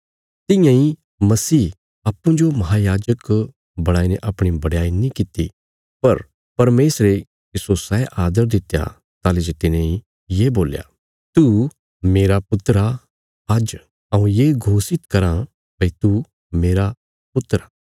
तियां इ मसीह अप्पूँजो महायाजक बणाईने अपणी बडयाई नीं कित्ती पर परमेशरे तिस्सो सै आदर दित्या ताहली जे तिने ये बोल्या तू मेरा पुत्र आ आज्ज हऊँ ये घोषित करा भई तू मेरा पुत्र आ